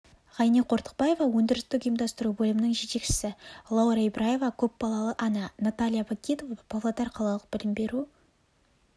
ғайни қортықбаева өндірістік ұйымдастыру бөлімінің жетекшісі лаура ибраева көпбалалы ана наталья пакидова павлодар қалалық білім беру